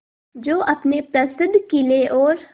जो अपने प्रसिद्ध किले और